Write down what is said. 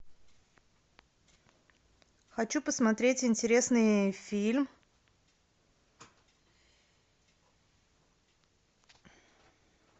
хочу посмотреть интересный фильм